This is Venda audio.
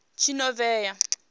tshinovhea